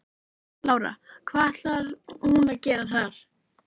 Lára: Hvað ætlar hún að gera þar?